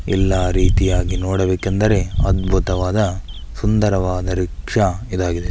ಎಲ್ಲಾ ರೀತಿಯಾಗಿ ನೋಡಬೇಕೆಂದರೆ ಅದ್ಭುತವಾದ ಸುಂದರವಾದ ರಿಕ್ಷಾ ಇದಾಗಿದೆ.